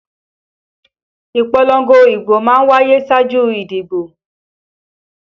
Ìpolongo ìbò má ń wáyé ṣáájú ìdìbò